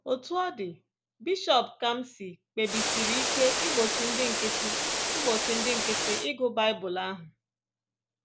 Otú ọ dị, Bishọp kamsị kpebisiri ike igbochi ndị nkịtị igbochi ndị nkịtị ịgụ Bible ahụ